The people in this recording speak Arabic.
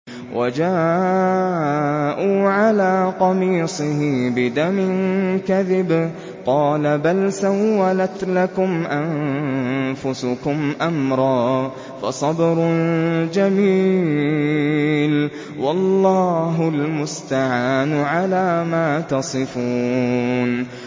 وَجَاءُوا عَلَىٰ قَمِيصِهِ بِدَمٍ كَذِبٍ ۚ قَالَ بَلْ سَوَّلَتْ لَكُمْ أَنفُسُكُمْ أَمْرًا ۖ فَصَبْرٌ جَمِيلٌ ۖ وَاللَّهُ الْمُسْتَعَانُ عَلَىٰ مَا تَصِفُونَ